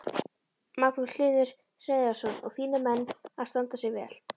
Magnús Hlynur Hreiðarsson: Og þínir menn að standa sig vel?